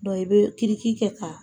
i bɛ kɛ ka.